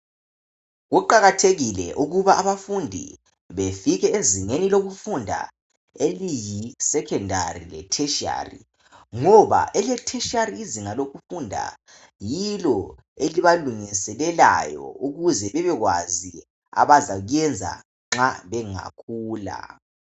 Kuqakathekile ukuba abafundi befike ezingeni lokufunda eliyisecondary letertiary ngoba ele tertiary izinga lokufunda yilo elibalungiselelayo ukuze bebekwazi abazakuyenza nxa bengakhula